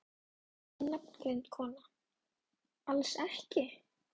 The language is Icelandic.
Ónafngreind kona: Alls ekki?